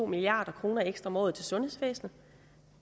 milliard kroner ekstra om året til sundhedsvæsenet